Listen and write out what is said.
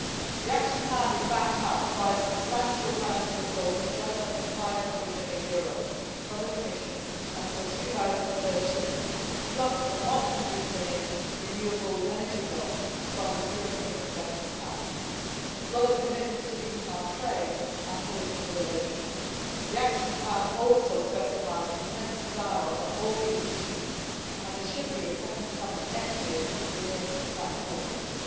The action plan is backed up by a substantial financial resource of just under EUR 500 million from the Commission until 2013, plus a EUR 100 million renewable energy loan from the European Investment Bank, as well as commitments to deepen our trade and political relations. The action plan also specifies intensified dialogue on all these issues and there should be a second summit next year within the Spanish Presidency.